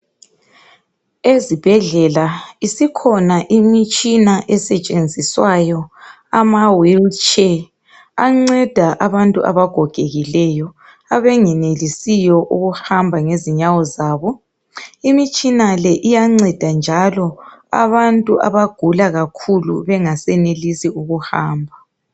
Ezibhedlela, isikhona imitshina esetshenziswayo, amawheelchair. Anceda abantu abagogekileyo. Abangenelisiyo ukuhamba ngez8nyawo zabo. Imitshina le iyanceda njalo, abantu abagula kakhulu. Bengasenelisi ukuhamba.